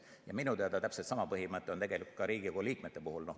Ja minu teada täpselt sama põhimõte on tegelikult ka Riigikogu liikmete puhul.